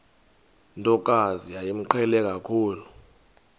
ntokazi yayimqhele kakhulu